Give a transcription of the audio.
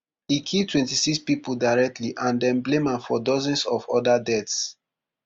e kill twenty-six pipo directly and dem blame am for dozens of oda deaths